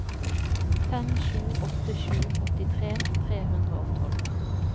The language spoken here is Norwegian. fem sju åtte sju åttitre tre hundre og tolv